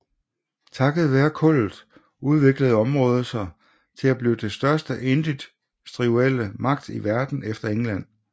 Takket være kullet udviklede området sig til at blive den største industrielle magt i Verden efter England